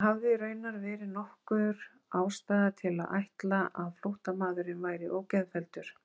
En hafði raunar verið nokkur ástæða til að ætla að flóttamaðurinn væri ógeðfelldur?